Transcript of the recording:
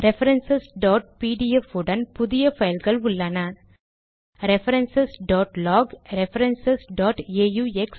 reference PDF உடன் புதிய பைல்கள் உள்ளன ரெஃபரன்ஸ் log ரெஃபரன்ஸ் aux